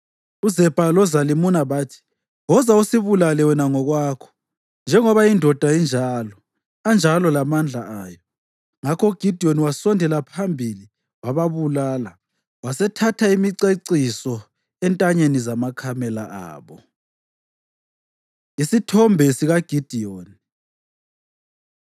UZebha loZalimuna bathi, “Woza, usibulale wena ngokwakho. ‘Njengoba indoda injalo, anjalo lamandla ayo.’ ” Ngakho uGidiyoni wasondela phambili wababulala, wasethatha imiceciso entanyeni zamakamela abo. Isithombe SikaGidiyoni